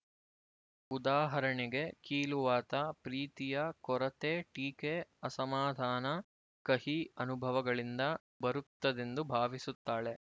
ಉದಾಹರಣೆಗೆ ಕೀಲುವಾತ ಪ್ರೀತಿಯ ಕೊರತೆ ಟೀಕೆ ಅಸಮಾಧಾನ ಕಹಿ ಅನುಭವಗಳಿಂದ ಬರುತ್ತದೆಂದು ಭಾವಿಸುತ್ತಾಳೆ